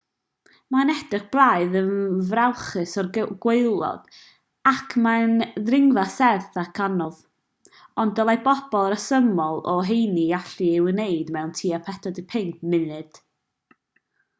mae'n edrych braidd yn frawychus o'r gwaelod ac mae'n ddringfa serth ac anodd ond dylai pobl resymol o heini allu ei wneud mewn tua 45 munud